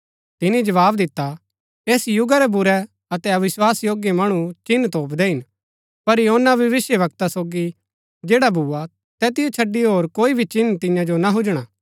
तिनी जवाव दिता ऐस युगा रै बुरै अतै अविस्वास योग्य मणु चिन्ह तोपदै हिन पर योना भविष्‍यवक्ता सोगी जैड़ा भूआ तैतिओ छडी होर कोई भी चिन्ह तियां जो ना हुजणा